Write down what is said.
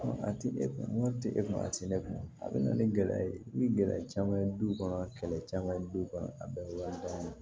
A ti e kun tɛ e kun a ti ne kun na a bɛna ni gɛlɛya ye i bi gɛlɛya caman ye du kɔnɔ kɛlɛ caman ye du kɔnɔ a bɛɛ ye wari bannen ye